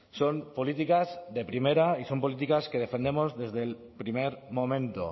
son políticas de primera y son políticas que defendemos desde el primer momento